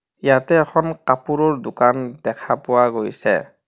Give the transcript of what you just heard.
ইয়াতে এখন কাপোৰৰ দোকান দেখা পোৱা গৈছে.